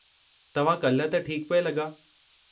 तव्हां काल्हि त ठीकु पिए लॻा।